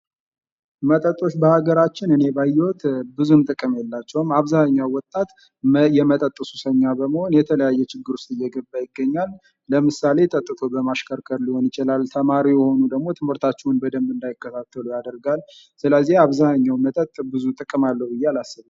መጠጦች የሀገራችን እኔ ባየሁት ብዙም ጥቅም የላቸውም ። አብዛኛው ወጣት የመጠጥ ሱሰኛ በመሆን የተለያየ ችግር ውስጥ እየገባ ይገኛል ። ለምሳሌ ጠጥቶ በማሽከርከር ሊሆን ይችላል፣ ተማሪ የሆኑ ደግሞ ትምህርታቸውን እንዳይከታተሉ ያደርጋል ። ስለዚህ አብዛኛው መጠጥ ብዙ ጥቅም አለው ብዬ አላስብም ።